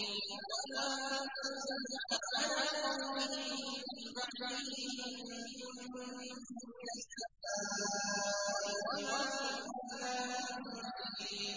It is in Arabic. ۞ وَمَا أَنزَلْنَا عَلَىٰ قَوْمِهِ مِن بَعْدِهِ مِن جُندٍ مِّنَ السَّمَاءِ وَمَا كُنَّا مُنزِلِينَ